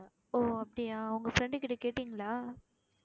ஓ அப்படியா உங்க friend கிட்ட கேட்டீங்களா